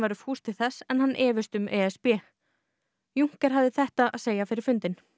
væru fús til þess en hann efist um e s b juncker hafði þetta að segja fyrir fundinn